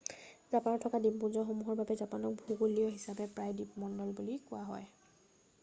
"জাপানত থকা দ্বীপপুঞ্জসমূহৰ বাবে জাপানক ভূগোলীয় হিচাপে প্ৰায়ে "দ্বীপমণ্ডল" বুলি কোৱা হয়।""